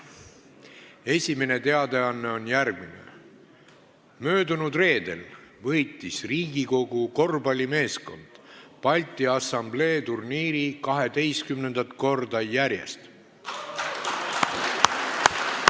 Esimene teadaanne on järgmine: möödunud reedel võitis Riigikogu korvpallimeeskond 12. korda järjest Balti Assamblee turniiri.